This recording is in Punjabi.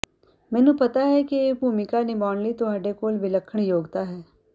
ਮੈਂਨੂੰ ਪਤਾ ਹੈ ਕਿ ਇਹ ਭੂਮਿਕਾ ਨਿਭਾਉਣ ਲਈ ਤੁਹਾਡੇ ਕੋਲ ਵਿਲੱਖਣ ਯੋਗਤਾ ਹੈ